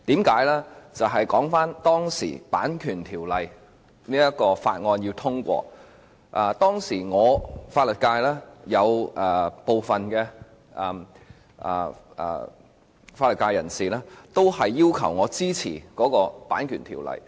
說回當時《2014年版權條例草案》在立法會的情況，當時有部分法律界人士要求我支持《條例草案》。